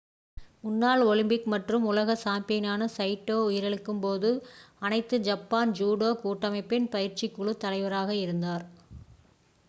முன்னாள் ஒலிம்பிக் மற்றும் உலக சாம்பியனான சைட்டோ உயிரிழக்கும்போது அனைத்து ஜப்பான் ஜூடோ கூட்டமைப்பின் பயிற்சிக்குழு தலைவராக இருந்தார்